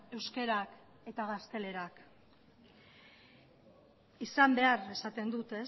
euskarak eta gaztelerak izan behar esaten dut